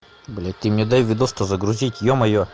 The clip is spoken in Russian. блять ты мне дай видос то загрузить ё моё